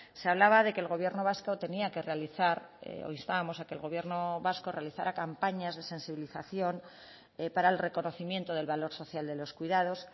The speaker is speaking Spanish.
se hablaba de que el gobierno vasco tenía que realizar o instábamos a que el gobierno vasco realizara campañas de sensibilización para el reconocimiento del valor social de los cuidados